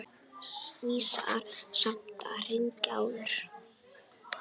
Vissara samt að hringja áður.